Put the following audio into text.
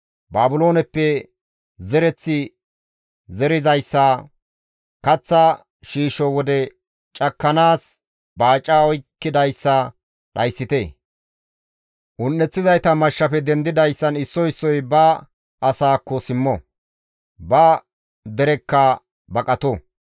Baabilooneppe zereththi zerizayssa, kaththa shiisho wode cakkanaas baaca oykkidayssa dhayssite; un7eththizayta mashshafe dendidayssan issoy issoy ba asaakko simmo; ba derekka baqato.